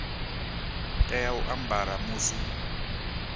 tea u a ambara musi